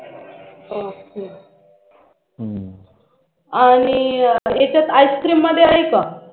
ok आणि यांच्यात Ice cream मध्ये आहे का